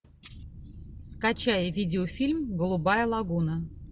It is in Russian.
скачай видеофильм голубая лагуна